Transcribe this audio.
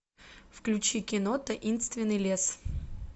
включи кино таинственный лес